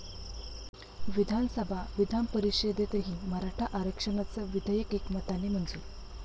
विधानसभा, विधानपरिषदेतही मराठा आरक्षणाचं विधेयक एकमताने मंजूर